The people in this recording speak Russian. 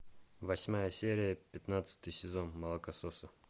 восьмая серия пятнадцатый сезон молокососы